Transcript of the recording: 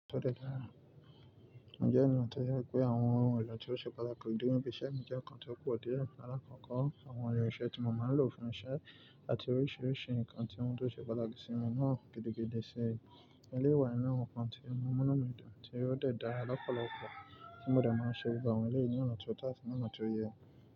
Ǹjẹ́ ẹ ni wọ́n tẹ̀lẹ́ pé àwọn ohun elo tí ó ṣe pátaki kù díẹ̀ bí iṣẹ́ mi jẹ́ nǹkan tí ó pọ̀ díẹ̀ alakoko. Àwọn irinṣẹ́ tí mo máa ń lò fún iṣẹ́ àti oríṣìíríṣìí nǹkan tí wọ́n tó ṣe pátaki sí mi náà gidigidi ṣe. Iyen le wa ni àwọn nǹkan tí n mu ìnumidun tí ó dẹ̀ da lọ́pọ̀lọpọ̀ tí mo dẹ̀ máa ń ṣe gbogbo awon elẹ́yì ni ọ̀nà ti oó to àti ọ̀nà tó yẹ.